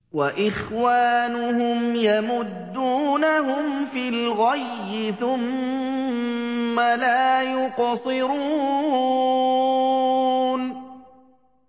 وَإِخْوَانُهُمْ يَمُدُّونَهُمْ فِي الْغَيِّ ثُمَّ لَا يُقْصِرُونَ